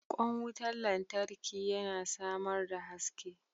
Kwan wutar lantarki yana samar da haske.